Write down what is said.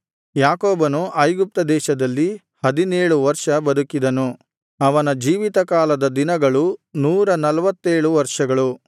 ಯಾಕೋಬನು ಐಗುಪ್ತ ದೇಶದಲ್ಲಿ ಹದಿನೇಳು ವರ್ಷ ಬದುಕಿದನು ಅವನ ಜೀವಿತ ಕಾಲದ ದಿನಗಳು ನೂರ ನಲ್ವತ್ತೇಳು ವರ್ಷಗಳು